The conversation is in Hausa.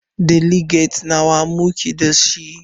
Deliges nawa muke dashi?